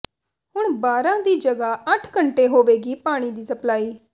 ਹੁਣ ਬਾਰ੍ਹਾਂ ਦੀ ਜਗ੍ਹਾ ਅੱਠ ਘੰਟੇ ਹੋਵੇਗੀ ਪਾਣੀ ਦੀ ਸਪਲਾਈ